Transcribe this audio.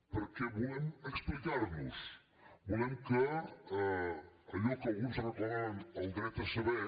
perquè volem explicar nos volem que allò que alguns reclamaven el dret a saber